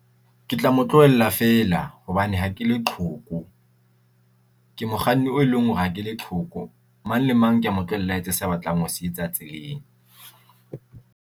Ke tla mo tlohella feela hobane ha ke leqhoko, ke mokganni o eleng hore ha ke leqhoko. Mang le mang kea mo tlohella a etse se batlang ho se etsa tseleng.